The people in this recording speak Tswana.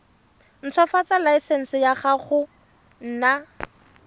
ntshwafatsa laesense ya go nna